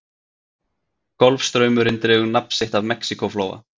Golfstraumurinn dregur nafn sitt af Mexíkóflóa.